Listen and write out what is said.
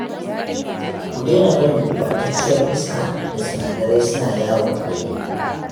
Ku daina barin gurɓatacciyar iska da sinadarai suna yawo a gari